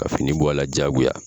Ka fini bɔ a la jagoya